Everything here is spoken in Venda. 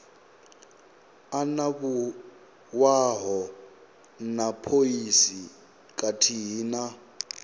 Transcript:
anavhuwaho na phoisi khathihi na